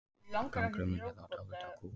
Gangurinn minnir þá dálítið á kú.